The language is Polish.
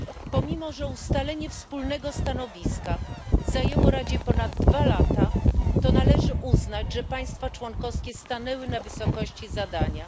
Pomimo że ustalenie wspólnego stanowiska zajęło Radzie ponad dwa lata, należy uznać, że państwa członkowskie stanęły na wysokości zadania.